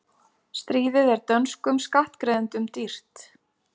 Stríðið er dönskum skattgreiðendum dýrt